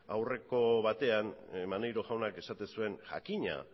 aurreko batean maneiro jaunak esaten zuen jakina